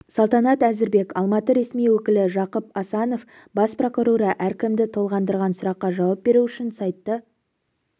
салтанат әзірбек алматы ресми өкілі жақып асанов бас прокуроры әркімді толғандырған сұраққа жауап беру үшін сайты